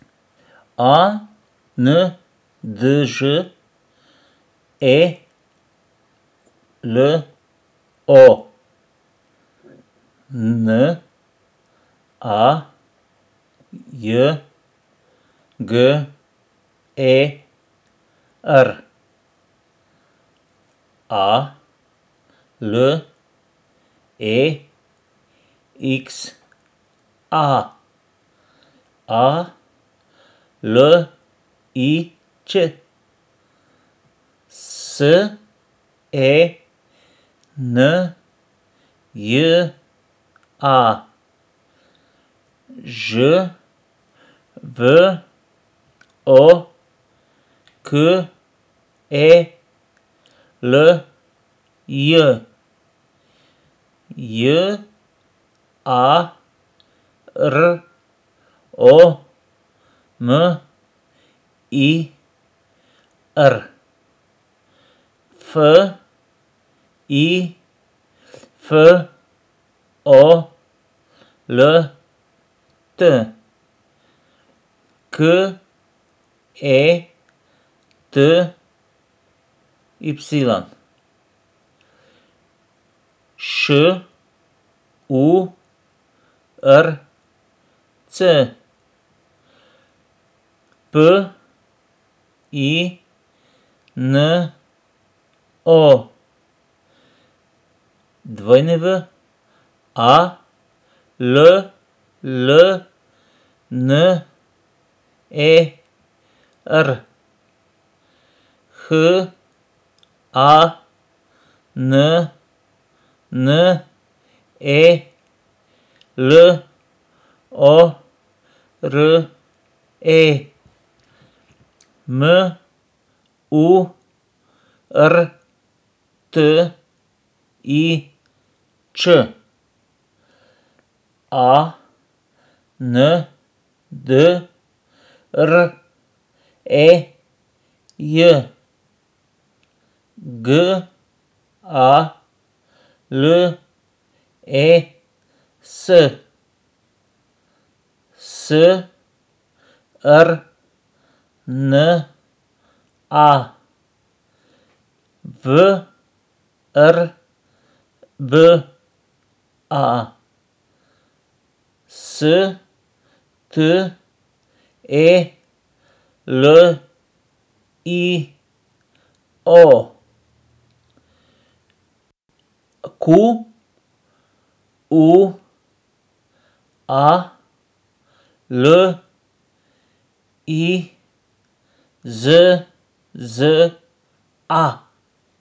A N Đ E L O, N A J G E R; A L E X A, A L I Ć; S E N J A, Ž V O K E L J; J A R O M I R, F I F O L T; K E T Y, Š U R C; P I N O, W A L L N E R; H A N N E L O R E, M U R T I Č; A N D R E J, G A L E S; S R N A, V R B A; S T E L I O, Q U A L I Z Z A.